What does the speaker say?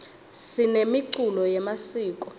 sinemiculo yemasiko